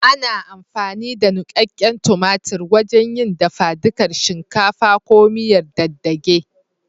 Ana amfani da nuƙaƙƙen tumatur wajen yin dafadukar shinkafa ko miyar dage dage.